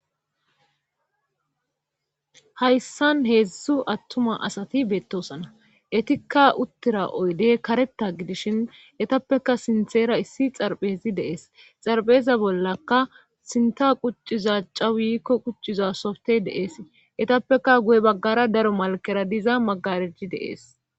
hayssan heedzdzu attuma asati beettosana etikka uttira oydey kareta gidishin etappeka sinthera issi xarphezi deees xarpheza bollaka sinta qucciza cca wiikko qucciza softe deees etappeka guye baggara daro malkera diza magarejji deees